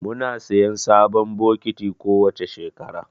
Muna siyan sabon bokiti kowace shekara